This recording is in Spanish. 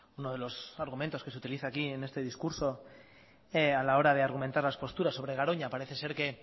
uno de los argumentos que se utiliza aquí en este discurso a la hora de argumentar las posturas sobre garoña parece ser que